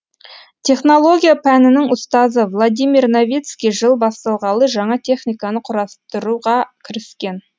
технология пәнінің ұстазы владимир новицкий жыл басталғалы жаңа техниканы құрастыруға кіріскен